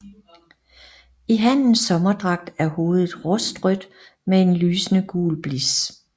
I hannens sommerdragt er hovedet rustrødt med en lysende gul blis